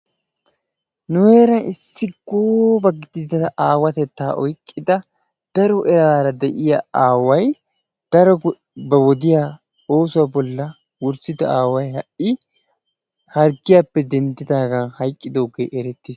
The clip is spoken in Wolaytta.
Nu heeran issi gooba gidida aawatettaa oyqqida daro eraara de'iya aaway, daro ba wodiya oosuwa bollan wurssida aaway ha"i harggiyappe denddidaagan hayqqidoogee erettiis.